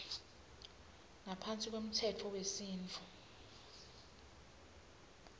ngaphansi kwemtsetfo wesintfu